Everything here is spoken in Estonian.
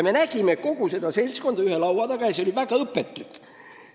Me nägime kogu seda seltskonda ühe laua taga ja see oli väga õpetlik.